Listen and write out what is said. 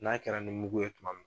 N'a kɛra nin mugu ye tuma min